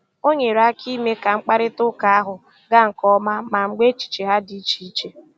O nyere aka ime ka mkparịta ụka ahụ gaa nke ọma ma mgbe echiche ha dị iche iche